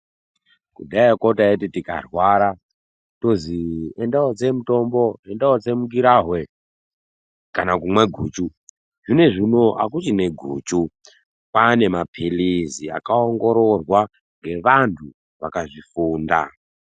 Kudhayako taiti tikarwara tozi enda wootse mutombo, enda wootse mungirahwe, kana kumwe guchu. Zvinezvi unou akuchina guchu, kwaane mapilizi akaongororwa ngevantu vakazvifunda.